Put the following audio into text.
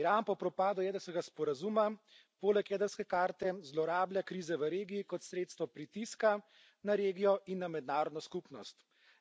Iran po propadu jedrskega sporazuma poleg jedrske karte zlorablja krize v regiji kot sredstva pritiska na regijo in na mednarodno skupnost.